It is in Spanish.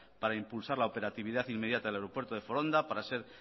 para impulsar la operatividad inmediata del aeropuerto de foronda para ser